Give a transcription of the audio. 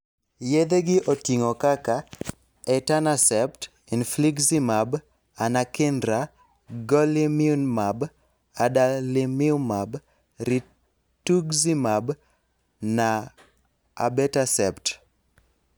Yedhe gi oting'o kaka 'etanercept', 'infliximab', 'anakinra', 'golimumab', 'adalimumab', 'rituximab', na 'abatacept'.